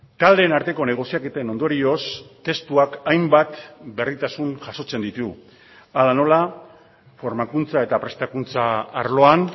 taldeen arteko negoziaketen ondorioz testuak hainbat berritasun jasotzen ditu hala nola formakuntza eta prestakuntza arloan